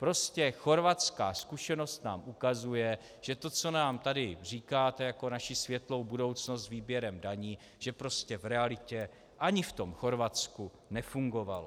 Prostě chorvatská zkušenost nám ukazuje, že to, co nám tady říkáte jako naši světlou budoucnost s výběrem daní, že prostě v realitě ani v tom Chorvatsku nefungovalo.